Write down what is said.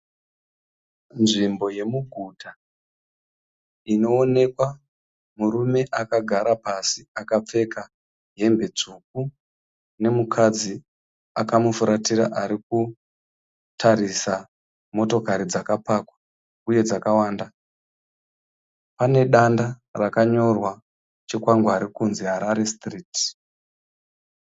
Nzvimbo yemuguta inoonekwa murume akagara pasi akapfeka hembe tsvuku nemukadzi akamufuratira ari kutarisa motokari dzakapakwa uye dzakawanda. Pane danda rakanyorwa chikwangwari kunzi Harare sitiriti.